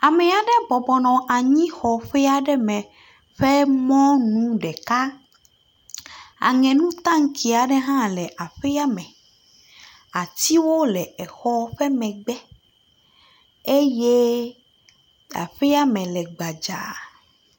Amea ɖe bɔbɔ nɔ anyixɔ ƒea ɖe me ƒe mɔnu ɖekaa. Aŋenukaŋtsie ɖ hã le aƒea me. Atsiwo le exɔ ƒe megbe eye aƒea me le gbadzaa.